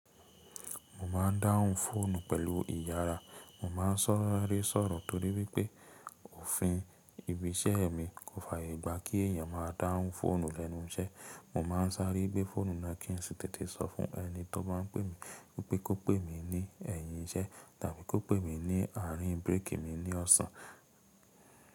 Mo ma ń dáhùn fóònù pẹ̀lú ìyàrá. Mo ma n saare sọ̀rọ̀ torí wípé òfin ibi iṣẹ́ mi kò fàyè gbà kí èèyàn máa dáhùn fóònù lẹ́nu iṣẹ́. Mo ma n sàáre gbé fóònù náà kì í sì tètè sọ fún ẹni tó bá ń pè mi wípé kó pè mi ní ẹ̀yìn iṣẹ́ tàbí kó pè mi ní àárín bírèkì mi ní ọ̀sán.